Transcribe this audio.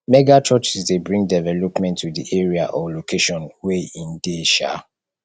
mega churches de bring development to di area or location wey in de um